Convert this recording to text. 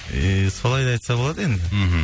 иии солай да айтса болады енді мхм